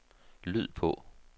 lyd på